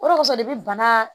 O de kosɔn de bɛ bana